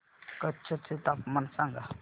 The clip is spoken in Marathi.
कच्छ चे तापमान सांगा